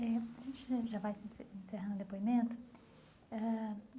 Eh a gente já já vai se ence encerrar o depoimento ãh.